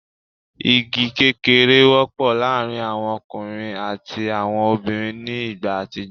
Igẹ kékeré wọ́pọ̀ láàrin àwọn ọkùnrin àti àwọn obìnrin ní igbá àtijọ́